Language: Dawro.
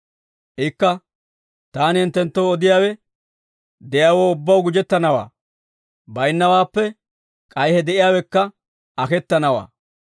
«Ikka, ‹Taani hinttenttoo odiyaawe, de'iyaawoo ubbaw gujettanawaa; baynnawaappe k'ay he de'iyaawekka aketanawaa.